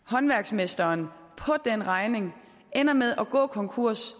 håndværksmesteren på den regning og ender med at gå konkurs